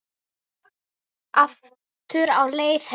Aftur á leið heim.